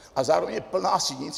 A zároveň je plná sinic.